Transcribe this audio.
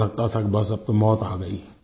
ऐसा लगता था कि बस अब तो मौत आ गयी